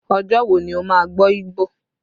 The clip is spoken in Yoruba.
Ọjọ́ wo ni o máa gbọ́ Igbo?